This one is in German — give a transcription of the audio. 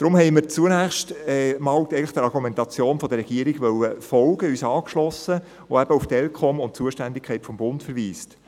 Deshalb haben wir zunächst der Argumentation der Regierung folgen wollen und uns angeschlossen, die auf die ElCom und die Zuständigkeit des Bundes verweist.